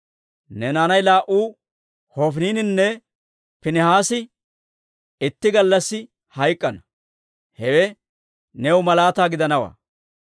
«Ne naanay laa"u Hofiniininne Piinihaasi itti gallassi hayk'k'ana; hewe new malaataa gidanawaa.